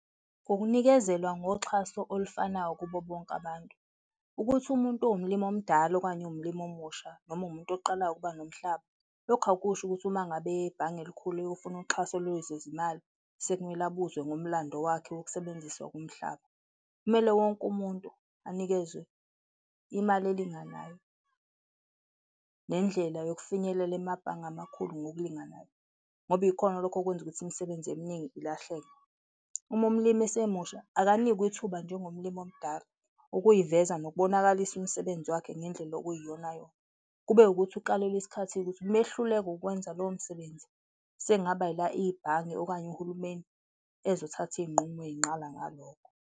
Ukunikezelwa ngoxhaso olufanayo kubo bonke abantu. Ukuthi umuntu uwumlimi omdala okanye uwumlimi omusha noma uwumuntu oqalayo ukuba nomhlaba, lokhu akusho ukuthi uma ngabe eye ebhange elikhulu eyofuna uxhaso lwezezimali, sekumele abuzwe ngomlando wakhe wokusebenziswa komhlaba. Kumele wonke umuntu anikezwe imali elinganayo nendlela yokufinyelela emabhange amakhulu ngokulinganayo ngoba ikhona lokho okwenza ukuthi imisebenzi eminingi ilahleke. Uma umlimi esemusha, akanikwe ithuba njengomlimi omdala, ukuziveza nokubonakalisa umsebenzi wakhe ngendlela okuyiyonayona, kube ukuthi ukalelwe isikhathi-ke ukuthi mayehluleka ukwenza lowo msebenzi, sengaba ila ibhange okanye uhulumeni ezothatha izinqumo eyinqala ngalokho.